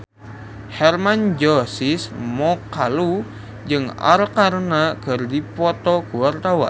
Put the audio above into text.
Hermann Josis Mokalu jeung Arkarna keur dipoto ku wartawan